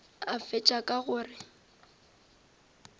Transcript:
a fetša ka go re